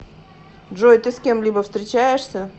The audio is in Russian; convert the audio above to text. джой ты с кем либо встречаешься